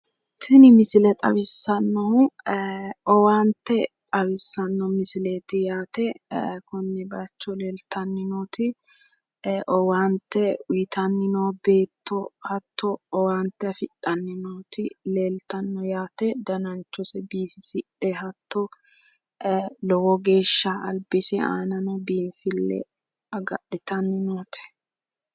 Tini misile xawissannohu owaante xawissanno misileeti yaate konne bayicho leeltanni nooti owaante uyitanni noo beetto hatto owaante afidhanni nooti leeltanno yaate. Dananchose biifisidhe hatto lowo geeshsha albise aanano biinfille agadhitanni noote.